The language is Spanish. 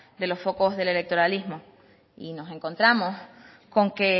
de los focos del electoralismo y nos encontramos con que